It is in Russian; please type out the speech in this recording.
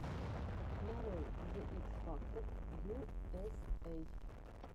нарой зе икс фактор ю эс эй